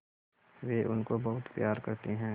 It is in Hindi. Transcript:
वे उनको बहुत प्यार करते हैं